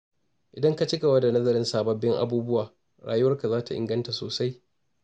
Idan ka ci gaba da nazarin sababbin abubuwa, rayuwarka za ta inganta sosai.